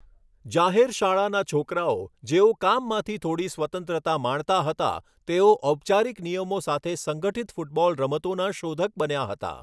જાહેર શાળાના છોકરાઓ, જેઓ કામમાંથી થોડી સ્વતંત્રતા માણતા હતા, તેઓ ઔપચારિક નિયમો સાથે સંગઠિત ફૂટબોલ રમતોના શોધક બન્યા હતા.